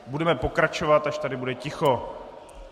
Budeme pokračovat, až tady bude ticho.